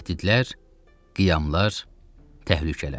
Təhdidlər, qiyamlar, təhlükələr.